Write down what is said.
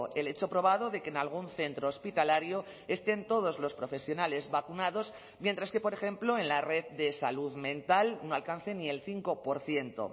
el hecho probado de que en algún centro hospitalario estén todos los profesionales vacunados mientras que por ejemplo en la red de salud mental no alcance ni el cinco por ciento